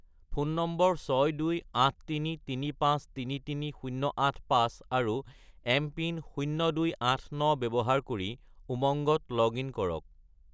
Phone number 62833533085 আৰু MPIN 0289 ব্যৱহাৰ কৰি উমংগত লগ-ইন কৰক।